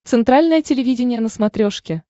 центральное телевидение на смотрешке